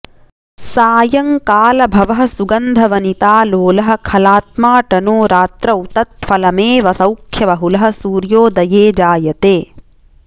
सायंकालभवः सुगन्धवनितालोलः खलात्माऽटनो रात्रौ तत्फलमेव सौख्यबहुलः सूर्योदये जायते